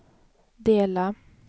dela